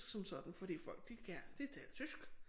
Som sådan fordi folk de de taler tysk